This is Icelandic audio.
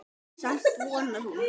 Samt vonar hún.